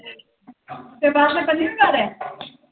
ਤੇ ਬਸ ਹੁਣ ਪੰਜਵੀਂ ਵਾਰ ਆ।